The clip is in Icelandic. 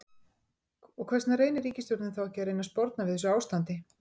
Og hvers vegna reynir ríkisstjórnin þá ekki að reyna að sporna við þessu ástandi?